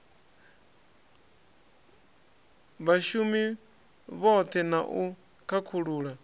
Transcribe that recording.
vhshumi vhohe na u khakhulula